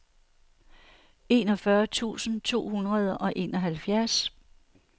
enogfyrre tusind to hundrede og enoghalvfjerds